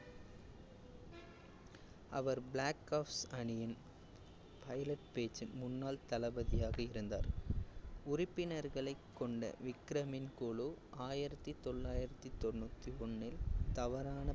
அவர் black ops அணியின் pilot batch ன் முன்னாள் தளபதியாக இருந்தார். உறுப்பினர்களைக் கொண்ட விக்ரமின் குழு ஆயிரத்தி தொள்ளாயிரத்தி தொண்ணூத்தி ஒண்ணில் தவறான